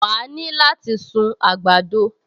Wà á ní láti sun àgbàdo